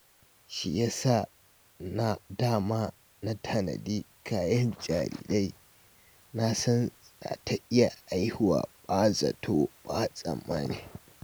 Shi ya sa da ma na tanadi kayan jarirai, na san za ta iya haihuwa ba zato ko tsammani